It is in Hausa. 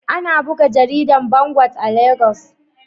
Ana buga jaridar Vanguard a Legas.